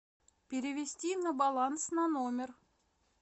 перевести на баланс на номер